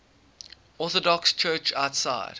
orthodox church outside